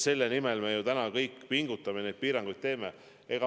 Selle nimel me ju täna kõik pingutame ja neid piiranguid teeme.